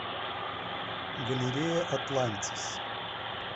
галерея атлантис